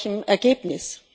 Aber mit welchem Ergebnis?